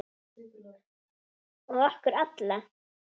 Og okkur alla.